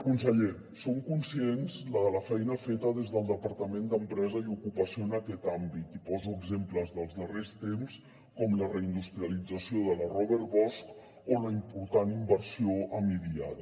conseller som conscients de la feina feta des del departament d’empresa i treball en aquest àmbit i poso exemples dels darrers temps com la reindustrialització de la robert bosch o la important inversió en idiada